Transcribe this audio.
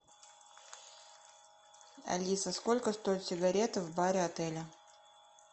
алиса сколько стоят сигареты в баре отеля